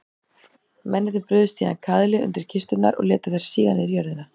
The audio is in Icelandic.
Mennirnir brugðu síðan kaðli undir kisturnar og létu þær síga niður í jörðina.